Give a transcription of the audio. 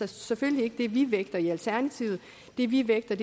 selvfølgelig ikke det vi vægter i alternativet det vi vægter